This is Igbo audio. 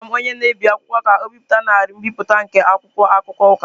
Agwara m onye na-ebi akwụkwọ ka o bipụta narị mbipụta nke akwụkwọ akụkọ Ụka.